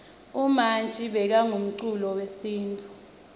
umanji bekangumculi wesintfu